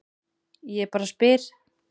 Ég bara spyr.